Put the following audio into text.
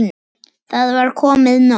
Það var komið nóg.